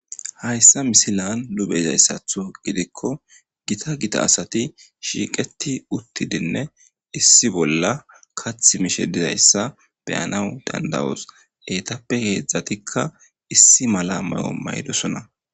Hayssa misilan lube izayssatho gidikko gita gita asati shiiqeti uttidinne issi bolla kath mishe dizayssa beyanawu dandawoos eetappe heedzdzatikka issi mala mayo maydosona